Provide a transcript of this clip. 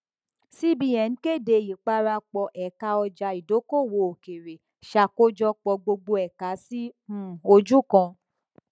cbn kéde ìparapọ ẹka ọjà ìdókòwò òkèèrè ṣàkójọpọ gbogbo ẹka sí um ojú kan